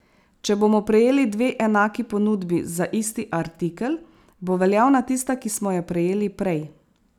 Če bomo prejeli dve enaki ponudbi za isti artikel, bo veljavna tista, ki smo jo prejeli prej.